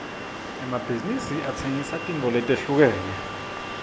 emabhizinsi atsengisa tintfo letehlukene